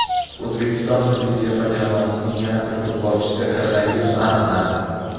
O‘zbekiston milliy terma jamoasining yana bir futbolchisida koronavirus aniqlandi.